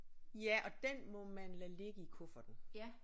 Ja og den må man lade ligge i kufferten